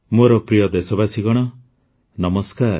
ମୋର ପ୍ରିୟ ଦେଶବାସୀଗଣ ନମସ୍କାର